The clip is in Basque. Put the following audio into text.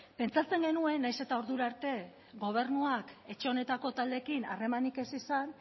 pentsatzen genuen nahiz eta ordura arte gobernuak etxe honetako taldeekin harremanik ez izan